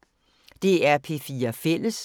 DR P4 Fælles